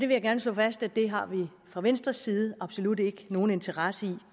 vil gerne slå fast at det har vi fra venstres side absolut ikke nogen interesse i